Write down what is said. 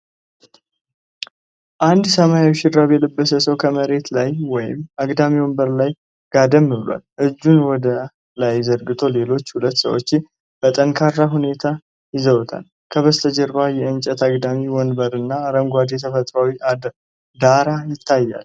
አንድ ሰማያዊ ሹራብ የለበሰ ሰው ከመሬት ላይ ወይም አግዳሚ ወንበር ላይ ጋደም ብሏል። እጁን ወደ ላይ ዘርግቶ ሌሎች ሁለት ሰዎች በጠንካራ ሁኔታ ይዘውታል። ከበስተጀርባ የእንጨት አግዳሚ ወንበርና አረንጓዴ ተፈጥሮአዊ ዳራ ይታያል።